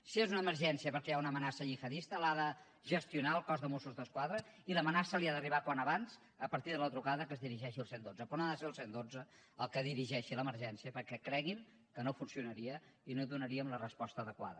si és una emergència perquè hi ha una amenaça gihadista l’ha de gestionar el cos de mossos d’esquadra i l’amenaça li ha d’arribar al més aviat possible a partir de la trucada que es dirigeixi al cent i dotze però no ha de ser el cent i dotze el que dirigeixi l’emergència perquè cregui’m que no funcionaria i no donaríem la resposta adequada